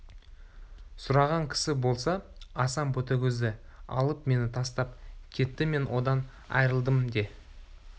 сұраған кісі болса асан ботагөзді алып мені тастап кетті мен одан айрылдым де